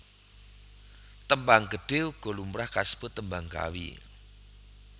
Tembang Gedhe uga lumrah kasebut Tembang Kawi